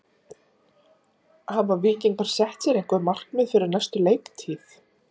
Hafa Víkingar sett sér einhver markmið fyrir næstu leiktíð?